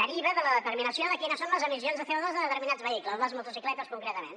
deriva de la determinació de quines són les emissions de codeterminats vehicles les motocicletes concretament